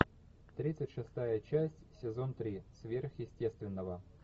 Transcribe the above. тридцать шестая часть сезон три сверхъестественного